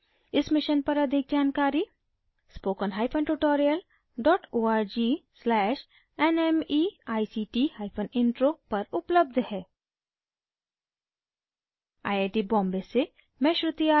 इस mission पर अधिक जानकारी htpp:// spokentutorialorg/nmeictintro पर उपलब्ध है